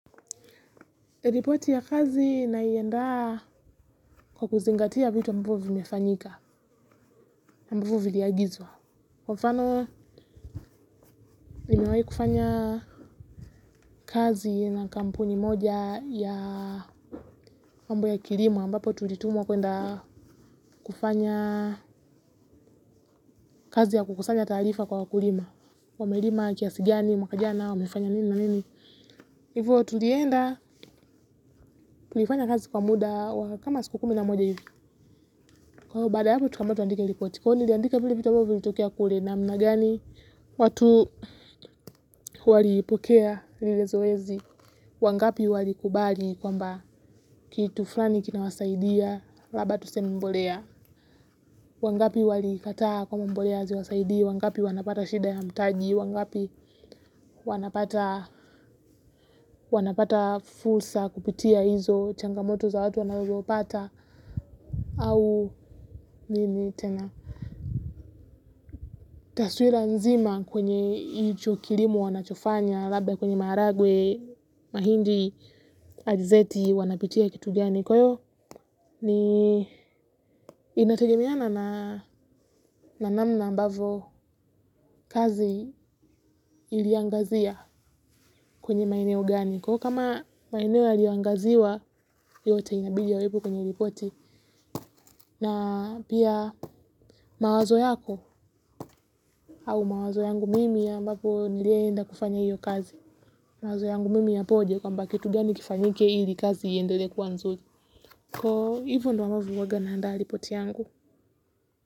Ripoti ya kazi naiandaa kwa kuzingatia vitu ambovyo vimefanyika, ambavyo viliagizwa. Kwa mfano, nimewahi kufanya kazi na kampuni moja ya mambo ya kilimo, ambapo tulitumwa kuwenda kufanya kazi ya kukusanya taarifa kwa wakulima. Wamelima, kiasi gani mwaka jana, wamefanya nini na nini. Hivyo, tulienda tulifanya kazi kwa muda wa kama siku kumi na moja hivi. Kwaiyo baada ya hapo tukaambiwa tuandike ripoti, kwaiyo niliandika vile ambavyo vilitokea kule. Namna gani watu walipokea lile zoezi. Wangapi walikubali kwamba kitu fulani kinawasaidia, labda tuseme mbolea. Wangapi walikataa kwamba mbolea haziwasaidii, wangapi wanapata shida ya mtaji, wangapi wanapata fursa kupitia hizo changamoto za watu wanagopata. Au nini tena! Taswira nzima kwenye icho kilimo wanachofanya labda kwenye maharagwe, mahindi, alizeti, wanapitia kitu gani. Kwaiyo, ni inategemeana na namna ambavyo kazi iliangazia kwenye maeneo gani. Kwaiyo kama maeneo yaliyoangaziwa yote inabidi yawepo kwenye ripoti. Na pia mawazo yako au mawazo yangu mimi ambapo niliye enda kufanya hiyo kazi. Mawazo yangu mimi yapoje, kwamba kitu gani kifanyike ili kazi iendelee kuwa nzuri. Kwaiyo hivyo ndo ambavyo huwaga naandaa ripoti yangu.